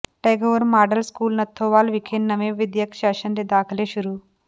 Tagore model school Nathowal ਵਿਖੇ ਨਵੇਂ ਵਿੱਦਿਅਕ ਸੈਸ਼ਨ ਦੇ ਦਾਖ਼ਲੇ ਸ਼ੁਰੂ